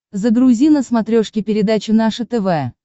загрузи на смотрешке передачу наше тв